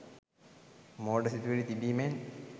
මෝඩ සිතුවිලි තිබීමෙන්